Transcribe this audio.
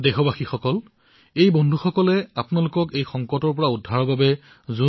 বন্ধুসকল আমাৰ এই সতীৰ্থসকলে দেশক এই সংকটৰ পৰা মুক্ত কৰিবলৈ অহোপুৰুষাৰ্থ কৰিছে